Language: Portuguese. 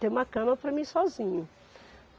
Ter uma cama para mim sozinho.